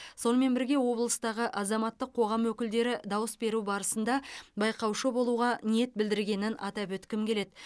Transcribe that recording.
сонымен бірге облыстағы азаматтық қоғам өкілдері дауыс беру барысында байқаушы болуға ниет білдіргенін атап өткім келеді